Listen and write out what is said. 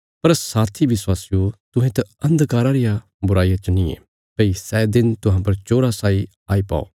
पर साथी विश्वासियो तुहें त अन्धकारा रिया बुराईया च नींये भई सै दिन तुहां पर चोरा साई आई पौ